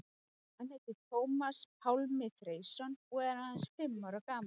Hann heitir Tómas Pálmi Freysson og er aðeins fimm ára gamall.